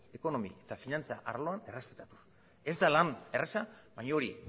ekonomi eta finantza arloan ez da lan erraza baina hori